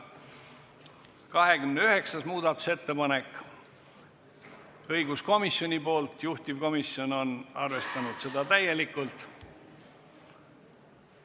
29. muudatusettepanek on taas õiguskomisjonilt ja juhtivkomisjon on arvestanud seda täielikult.